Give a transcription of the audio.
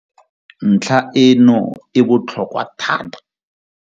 Ntlha e no e botlhokwa thata.